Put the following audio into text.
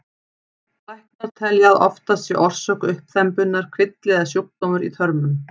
Læknar telja að oftast sé orsök uppþembunnar kvilli eða sjúkdómur í þörmum.